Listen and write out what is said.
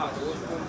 saat 11.